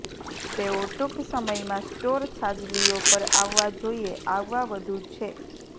તેઓ ટૂંક સમયમાં સ્ટોર છાજલીઓ પર આવવા જોઈએ આવવા વધુ છે